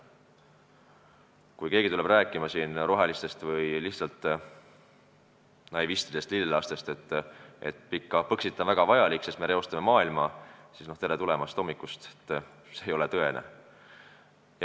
Kui keegi rohelistest või lihtsalt naivistidest lillelastest tuleb rääkima, et Põxit on väga vajalik, sest me reostame maailma, siis tere hommikust, see ei ole tõene.